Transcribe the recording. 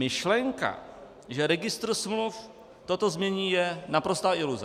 Myšlenka, že registr smluv toto změní, je naprostá iluze.